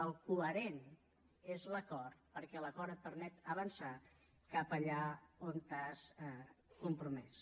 el coherent és l’acord perquè l’acord et permet avançar cap allà on t’has compromès